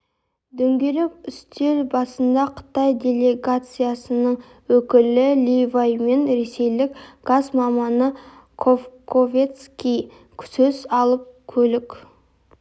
дөңгелек үстел басында қытай делегациясының өкілі ли вай мен ресейлік газ маманы косковецкий сөз алып көлік